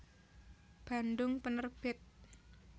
Bandung Penerbit